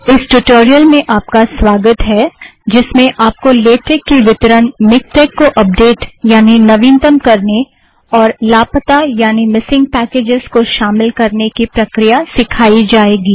इस ट्यूटोरियल में आप का स्वागत है जिसमें आपको लेटेक की वितरण मिक्टेक को अपडेट यानि नवीनतम करने और लापता यानि मिसिंग पैकेज़ को शामिल करने की प्रक्रिया सिखाई जाएगी